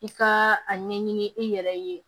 I ka a ɲɛɲini i yɛrɛ ye